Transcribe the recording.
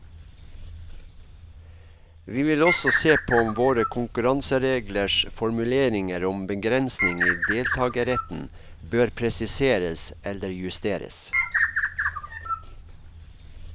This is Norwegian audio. Vi vil også se på om våre konkurransereglers formuleringer om begrensning i deltagerretten bør presiseres eller justeres.